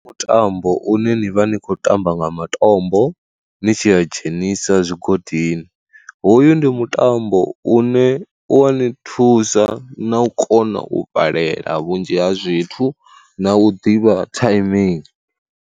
Mutambo une ni vha ni khou ṱamba nga matombo ni tshi a dzhenisa zwigodini, hoyu ndi mutambo une u wa ni thusa na u kona u balela vhunzhi ha zwithu na u ḓivha timing.